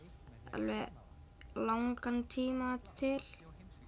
alveg langan tíma til